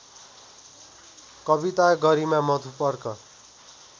कविता गरिमा मधुपर्क